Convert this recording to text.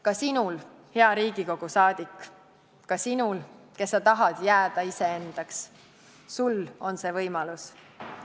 Ka sinul, hea Riigikogu liige, ka sinul, kes sa tahad jääda iseendaks, on see võimalus.